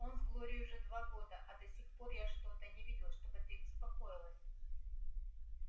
он с глорией уже два года а до сих пор я что-то не видел чтобы ты беспокоилась